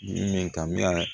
Min kamera